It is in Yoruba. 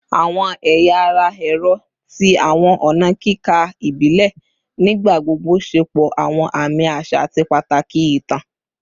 Awọn ẹya ara ẹrọ ti awọn ọna kika ibile nigbagbogbo ṣepọ awọn aami aṣa ati pataki itan